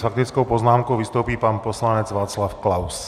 S faktickou poznámkou vystoupí pan poslanec Václav Klaus.